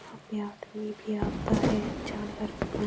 यहाँ पे आदमी भी आता है जानवर भी पानी --